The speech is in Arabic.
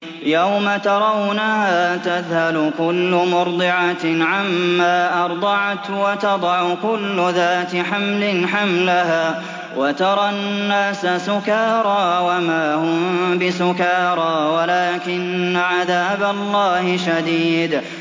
يَوْمَ تَرَوْنَهَا تَذْهَلُ كُلُّ مُرْضِعَةٍ عَمَّا أَرْضَعَتْ وَتَضَعُ كُلُّ ذَاتِ حَمْلٍ حَمْلَهَا وَتَرَى النَّاسَ سُكَارَىٰ وَمَا هُم بِسُكَارَىٰ وَلَٰكِنَّ عَذَابَ اللَّهِ شَدِيدٌ